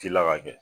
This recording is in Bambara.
Ci la ka kɛ